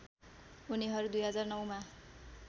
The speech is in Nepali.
उनीहरू २००९ मा